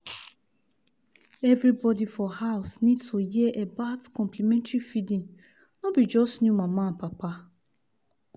everybody for house need to hear about complementary feeding no be just new mama and papa.